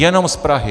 Jenom z Prahy.